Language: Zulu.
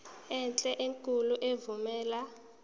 enhle enkulu evumela